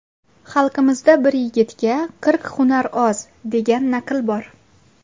Xalqimizda bir yigitga qirq hunar oz, degan naql bor.